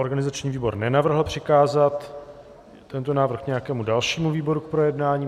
Organizační výbor nenavrhl přikázat tento návrh nějakému dalšímu výboru k projednání.